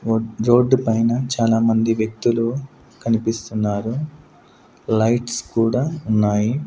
రో-- రోడ్డు పైన చాలామంది వ్యక్తులు కనిపిస్తున్నారు లైట్స్ కూడా ఉన్నాయి.